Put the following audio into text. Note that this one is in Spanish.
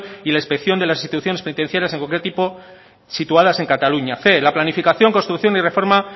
y la inspección de las instituciones penitenciarias de cualquier tipo situadas en cataluña cien la planificación construcción y reforma